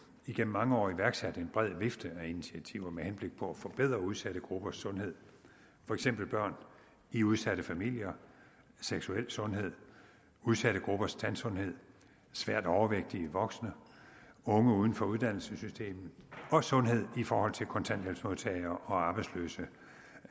igennem mange år iværksat en bred vifte af initiativer med henblik på at forbedre udsatte gruppers sundhed for eksempel børn i udsatte familier seksuel sundhed udsatte gruppers tandsundhed svært overvægtige voksne unge uden for uddannelsessystemet og sundhed i forhold til kontanthjælpsmodtagere arbejdsløse